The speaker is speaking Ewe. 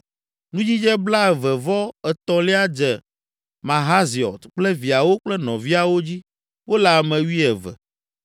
Nudzidze blaeve-vɔ-etɔ̃lia dze Mahaziot kple viawo kple nɔviawo dzi; wole ame wuieve.